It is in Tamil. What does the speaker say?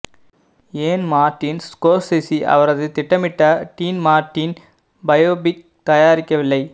ஏன் மார்டின் ஸ்கோர்செஸி அவரது திட்டமிடப்பட்ட டீன் மார்ட்டின் பயோபிக் தயாரிக்கவில்லை